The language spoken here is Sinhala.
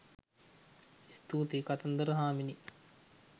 ස්තුතියි! කතන්දර හාමිනේ